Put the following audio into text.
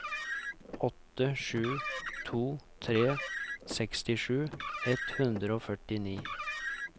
åtte sju to tre sekstisju ett hundre og førti